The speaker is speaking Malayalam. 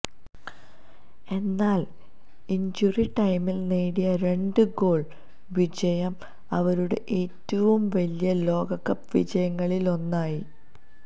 എന്നാൽ ഇൻജുറി ടൈമിൽ നേടിയ രണ്ട് ഗോൾ വിജയം അവരുടെ ഏറ്റവും വലിയ ലോകകപ്പ് വിജയങ്ങളിലൊന്നായി